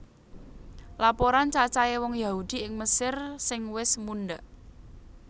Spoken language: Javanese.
Laporan cacahé wong Yahudi ing Mesir sing wis mundhak